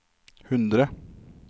hundre